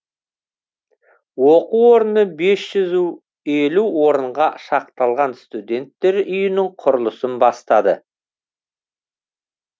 оқу орны бес жүз елу орынға шақталған студенттер үйінің құрылысын бастады